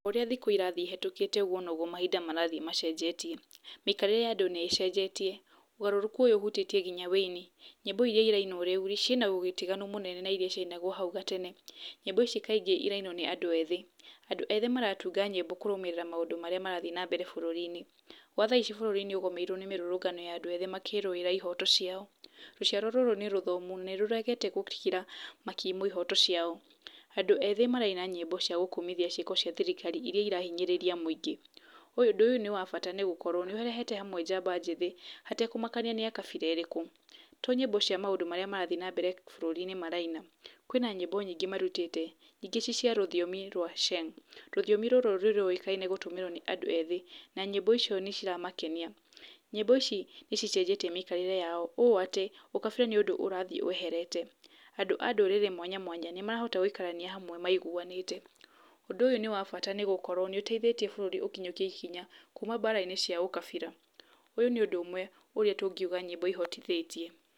Ũrĩa thikũ irathiĩ ihetũkĩte, ũguo noguo mahinda marathiĩ macenjetie, mĩikarĩre ya andũ nĩĩcenjetie, ũgarũrũku ũyũ ũhutĩtie nginya wĩini. Nyimbo irĩa irainwo rĩu ciĩna ũtiganu mũnene na irĩa cia inagwo na hau gatene, nyimbo ici kaingĩ cirainwo nĩ andũ ethĩ, maũndũ ethĩ maratunga nyĩmbo kũrũmĩrĩra na ũrĩa marĩa marathiĩ na mbere bũrũri-inĩ, gwa thaa ici bũrũri nĩ ũgũmĩirwo nĩ mĩrũrũngano ya andũ ethĩ makĩrũĩra ihoto ciao, rũciarwo rũrũ nĩ rũthomu na nĩ rũregete gũkira makiumwo ihooto ciao, andũ ethĩ maraina nyĩmbo cia gũkũmithia ciĩko cia thirikari irĩa irahinyĩrĩria mũingĩ, ũndũ ũyũ nĩ wa bata tondũ nĩ ũrehete hamwe njamba njĩthĩ hatekũmakania nĩ kabĩra ĩrĩkũ, to nyĩmbo cia maũndũ marĩa marathiĩ na mbere bũrũri-inĩ maraina, kwĩna nyĩmbo nyingĩ marutĩte, ingĩ ci cia rũthiomi rwa sheng, rũrĩa rũwĩkaine gũtũmĩrwo nĩ andũ ethĩ na nyĩmbo icio nĩ ciramakenia. Nyĩmbo ici nĩ cicenjetie mĩikarĩre yao, ũũ atĩ ũkabĩra nĩ ũndũ ũrathiĩ weherete, andũ a ndũrĩrĩ mwanya mwanya nĩ marahota gũikarania maigũanĩte, ũndũ ũyũ nĩ wabata nĩgũkorwo nĩũteithĩtie bũrũri ũkinyũkie ikinya kuuma bara-inĩ cia ũkabira, ũyũ nĩ ũndũ ũmwe ũrĩa tũngiuga nyĩmbo ihotithĩtie.